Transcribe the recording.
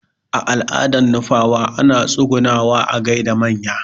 A al'adan nupawa ana tsugunawa a gaida manya